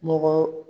Mɔgɔ